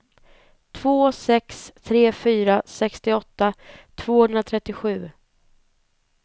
två sex tre fyra sextioåtta tvåhundratrettiosju